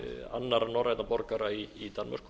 annarra norrænna borgara í danmörku